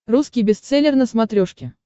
русский бестселлер на смотрешке